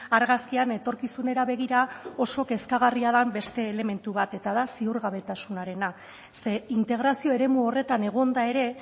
argazkian etorkizunera begira oso kezkagarria den beste elementu bat eta da ziurgabetasunarena ze integrazio eremu horretan egonda ere